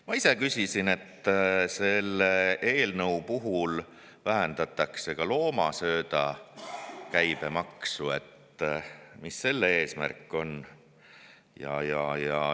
Ma ise küsisin selle kohta, et kuna selle eelnõuga vähendatakse ka loomasööda käibemaksu, siis mis selle eesmärk on.